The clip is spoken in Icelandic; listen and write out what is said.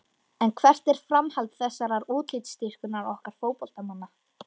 En hvert er framhald þessarar útlitsdýrkunar okkar fótboltamanna?